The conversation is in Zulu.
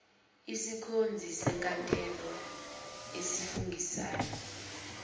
isikhonzi senkantolo esifungisayo